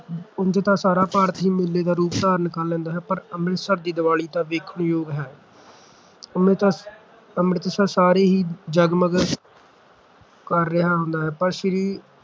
ਉਂਝ ਤਾਂ ਸਾਰਾ ਭਾਰਤ ਹੀ ਮੇਲੇ ਦਾ ਰੂਪ ਧਾਰਨ ਕਰ ਲੈਂਦਾ ਹੈ ਪਰ ਅੰਮ੍ਰਿਤਸਰ ਦੀ ਦੀਵਾਲੀ ਤਾਂ ਵੇਖਣ ਯੋਗ ਹੈ ਅੰਮ੍ਰਿਤ ਅੰਮ੍ਰਿਤਸਰ ਸਾਰੇ ਹੀ ਜਗਮਗ ਕਰ ਰਿਹਾ ਹੁੰਦਾ ਹੈ। ਪਰ ਸ੍ਰੀ